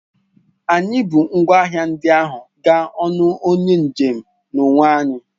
Anyị bu ngwa ahịa ndị ahụ gaa n'ọnụ onye njem n'onwe anyị